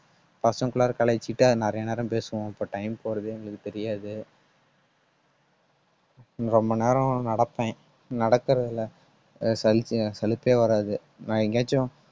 பசங்ககுள்ளாற எல்லாம் கலாய்ச்சிட்டு நிறைய நேரம் பேசுவோம். அப்ப time போறதே எங்களுக்கு தெரியாது ரொம்ப நேரம் நடப்பேன் நடக்குறது அஹ் சலுப்பே அஹ் சலுப்பே வராது. நான் எங்கேயாச்சும்